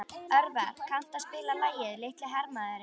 Örvar, kanntu að spila lagið „Litli hermaðurinn“?